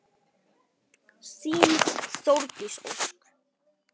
Þín Þórdís Ósk.